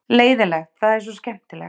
leiðinlegt það er svo skemmtilegt